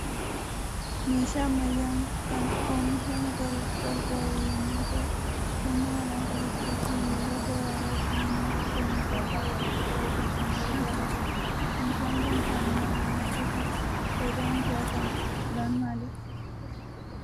Meeshaa ammayyaan kan oomisha makaruuf gargaaru yommuu ta'u, humna namaa qusachuu fi yeroo gabaabaatti namni akka oomisha isaa walitti qabatuuf kan gargaarudha. Meeshaan Kun kan namaan hojjetudha. Faayidaan isaa kan biraan maali?